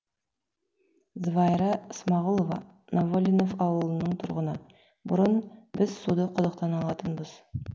звайра ысмағүлова новолинов ауылының тұрғыны бұрын біз суды құдықтан алатынбыз